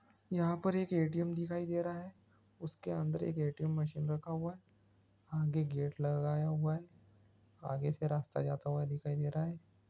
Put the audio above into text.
यहाँ पर एक ए.टी.एम. दिखाई दे रहा है उसके अन्दर एम एक ए.टी.एम. की मशीन रखा हुआ हैं आगे गेट लगाया हुआ हैं आगे से रास्ता जाता हुआ दिखाई दे रहा हैं।